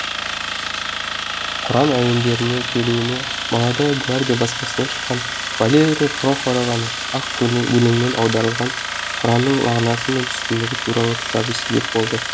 құран әуендеріне келуіме молодая гвардия баспасынан шыққан валерия порохованың ақ өлеңмен аударылған құранның мағынасы мен түсінігі туралы кітабы себеп болды